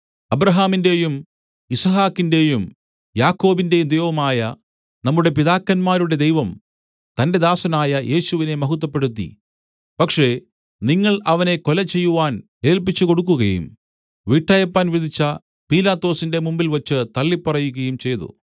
അബ്രാഹാമിന്‍റെയും യിസ്ഹാക്കിന്റെയും യാക്കോബിന്റെയും ദൈവമായ നമ്മുടെ പിതാക്കന്മാരുടെ ദൈവം തന്റെ ദാസനായ യേശുവിനെ മഹത്വപ്പെടുത്തി പക്ഷേ നിങ്ങൾ അവനെ കൊലചെയ്യുവാൻ ഏല്പിച്ചുകൊടുക്കുകയും വിട്ടയപ്പാൻ വിധിച്ച പീലാത്തോസിന്റെ മുമ്പിൽവച്ചു തള്ളിപ്പറയുകയും ചെയ്തു